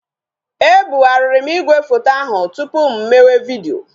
E bugharịrị m igwefoto ahụ tụpụ m mewe vidiyo